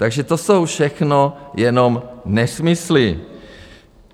Takže to jsou všechno jenom nesmysly.